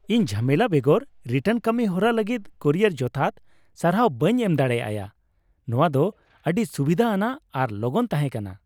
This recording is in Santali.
ᱤᱧ ᱡᱷᱟᱢᱮᱞᱟ ᱵᱮᱜᱚᱨ ᱨᱤᱴᱟᱨᱱ ᱠᱟᱹᱢᱤ ᱦᱚᱨᱟ ᱞᱟᱹᱜᱤᱫ ᱠᱩᱨᱤᱭᱟᱨ ᱡᱚᱛᱷᱟᱛ ᱥᱟᱨᱦᱟᱣ ᱵᱟᱹᱧ ᱮᱢ ᱫᱟᱲᱮ ᱟᱭᱟ ; ᱱᱚᱶᱟ ᱫᱚ ᱟᱹᱰᱤ ᱥᱩᱵᱤᱫᱷᱟ ᱟᱱᱟᱜ ᱟᱨ ᱞᱚᱜᱚᱱ ᱛᱟᱦᱮᱸᱠᱟᱱᱟ ᱾